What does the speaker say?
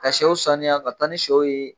Ka sew saniya ka taa ni sɛw ye